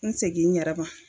N segin n yɛrɛma